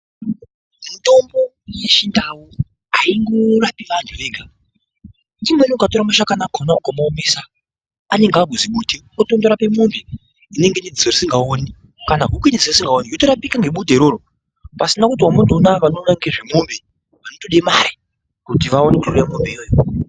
Mutombo yechindau airapi vantu ega imweni ukatora mushakani akona ukavoomesa. Anenge arizimbute unotonorape mwombe inenge iine dziso risikaoni kana huku isikaoni yotorapika ngebute iroro pasina kuti uri apa unorape mwombe vanotode mare kuti vaone kuuya korape mwombe iyoyo.